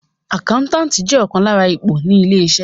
Àkáńtàtì jẹ́ ọ̀kan lára ipò ní ilé-iṣẹ́.